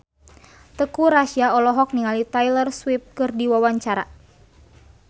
Teuku Rassya olohok ningali Taylor Swift keur diwawancara